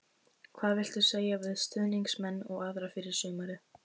Hvað viltu segja við stuðningsmenn og aðra fyrir sumarið?